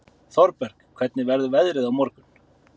Thorberg, hvernig verður veðrið á morgun?